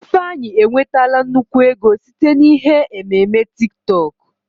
Ifeanyị enwetala nnukwu ego site na ihe ememe TiK TọK